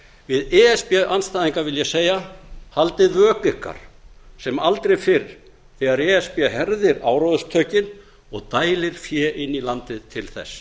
við e s b andstæðinga vil ég segja haldið vöku ykkar sem aldrei fyrr þegar e s b herðir áróðurstökin og dælir fé inn í landið til þess